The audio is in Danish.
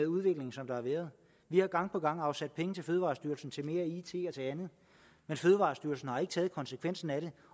udvikling som der har været vi har gang på gang afsat penge til fødevarestyrelsen til mere it og til andet men fødevarestyrelsen har ikke taget konsekvensen af det